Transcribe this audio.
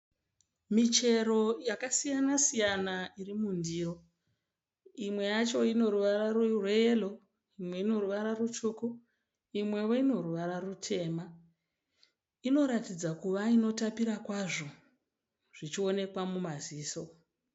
Michero yakasiyana siyana iri mundiro. Imwe yacho ine ruvara rweyellow, imwe rutsvuku imwewo ine ruvara rutema. Inoratidza kuva inotapira kwazvo zvichionekwa mumaziso.